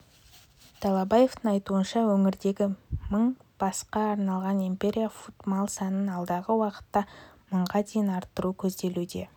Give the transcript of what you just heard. далабаевтың айтуынша өңірдегі мың басқа арналған империя фуд мал санын алдағы уақытта мыңға дейін арттыру көзделуде